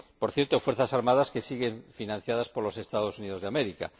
Por cierto, Fuerzas Armadas que siguen financiadas por los Estados Unidos de América.